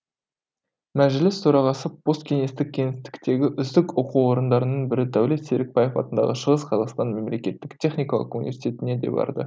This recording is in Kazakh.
мәжіліс төрағасы посткеңестік кеңістіктегі үздік оқу орындарының бірі дәулет серікбаев атындағы шығыс қазақстан мемлекеттік техникалық университетіне де барды